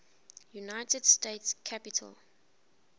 united states capitol